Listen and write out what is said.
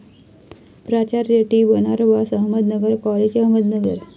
प्राचार्य, टी.बनारबास, अहमदनगर कॉलेज, अहमदनगर